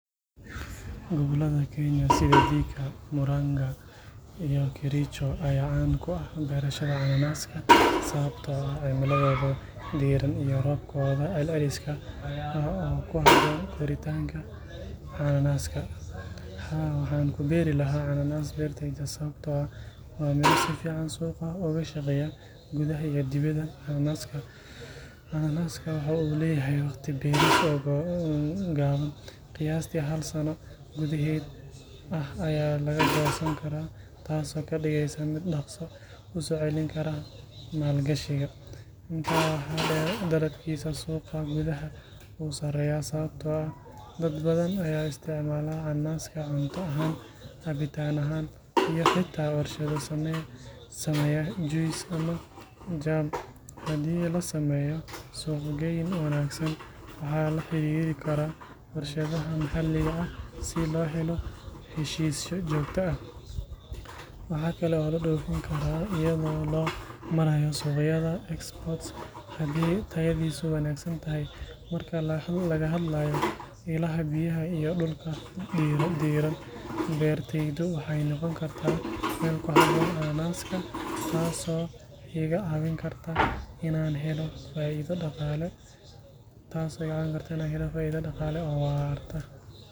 Gobollada Kenya sida Thika, Murang’a, iyo Kericho ayaa caan ku ah beerashada cananaaska sababtoo ah cimiladooda diirran iyo roobkooda celceliska ah oo ku habboon koritaanka cananaaska. Haa, waxaan ku beeri lahaa cananaas beertayda sababtoo ah waa miro si fiican suuqa uga shaqeeya gudaha iyo dibadda. Cananaaska waxa uu leeyahay waqti beeris oo gaaban, qiyaastii hal sano gudaheed ah ayaa laga goosan karaa, taas oo ka dhigaysa mid dhaqso u soo celin kara maalgashiga. Intaa waxaa dheer, dalabkiisa suuqa gudaha wuu sarreeyaa sababtoo ah dad badan ayaa isticmaala cananaaska cunto ahaan, cabitaan ahaan iyo xitaa warshado sameeya juice ama jam. Haddii la sameeyo suuq-geyn wanaagsan, waxaana la xiriiri karaa warshadaha maxalliga ah si loo helo heshiisyo joogto ah. Waxaa kale oo la dhoofin karaa iyadoo loo marayo suuqyada export haddii tayadiisu wanaagsan tahay. Marka laga hadlayo ilaha biyaha iyo dhulka diirran, beertaydu waxay noqon kartaa meel ku habboon cananaaska, taas oo iga caawin karta inaan helo faa’iido dhaqaale oo waarta.